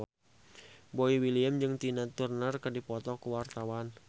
Boy William jeung Tina Turner keur dipoto ku wartawan